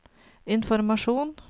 informasjon